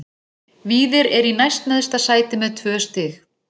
Víðir er í næst neðsta sæti með tvö stig.